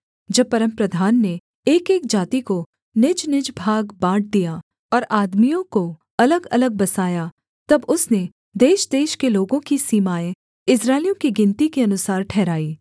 जब परमप्रधान ने एकएक जाति को निजनिज भाग बाँट दिया और आदमियों को अलगअलग बसाया तब उसने देशदेश के लोगों की सीमाएँ इस्राएलियों की गिनती के अनुसार ठहराई